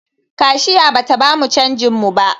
Kashiya bata bamu canjin mu ba